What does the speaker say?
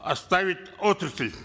оставить отрасль